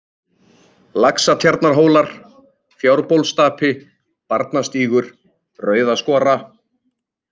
Laxatjarnarhólar, Fjárbólsstapi, Barnastígur, Rauðaskora